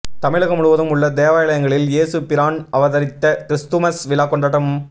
தமிழகம் முழுவதும் உள்ள தேவாலயங்களில் இயேசு பிரான் அவதரித்த கிறிஸ்துமஸ் விழா கொண்டாட்டம்